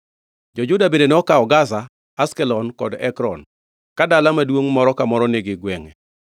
Jo-Juda bende nokawo Gaza, Ashkelon kod Ekron, ka dala maduongʼ moro ka moro nigi gwengʼe.